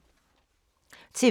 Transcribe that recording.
TV 2